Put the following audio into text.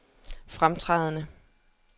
fremtrædende